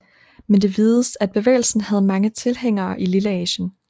Men det vides at bevægelsen havde mange tilhængere i Lilleasien